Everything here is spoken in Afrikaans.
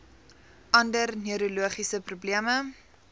ander neurologiese probleme